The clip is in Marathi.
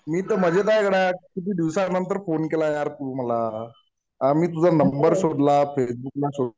मी तर मजेत आहे गड्या. किती दिवसानंतर फोन केला यार तू मला. आ मी तुझा नंबर शोधला फेसबुकला